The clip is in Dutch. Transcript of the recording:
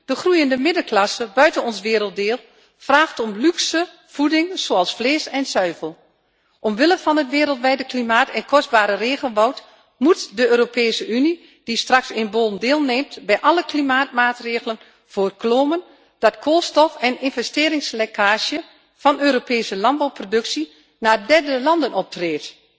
De groeiende middenklasse buiten ons werelddeel vraagt om luxe voeding zoals vlees en zuivel. Omwille van het wereldwijde klimaat en het kostbare regenwoud moet de Europese Unie, die straks in Bonn deelneemt, bij alle klimaatmaatregelen voorkomen dat er koolstof en investeringslekkage van Europese landbouwproductie naar derde landen optreedt!